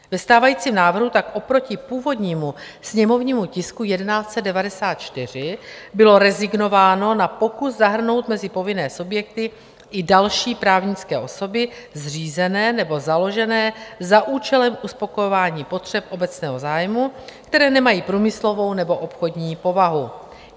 Ve stávajícím návrhu tak oproti původnímu sněmovnímu tisku 1194 bylo rezignováno na pokus zahrnout mezi povinné subjekty i další právnické osoby zřízené nebo založené za účelem uspokojování potřeb obecného zájmu, které nemají průmyslovou nebo obchodní povahu.